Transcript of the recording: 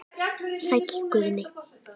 Sæll Guðni.